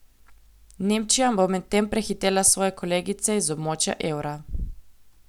Nemčija bo medtem prehitela svoje kolegice iz območja evra.